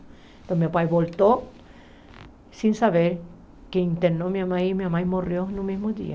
Então meu pai voltou, sem saber que internou minha mãe e minha mãe morreu no mesmo dia.